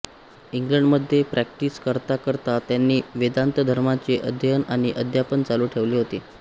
इंग्लंडमध्ये प्रॅक्टिस करताकरता त्यांनी वेदान्त धर्माचे अध्ययन आणि अध्यापन चालू ठेवले होते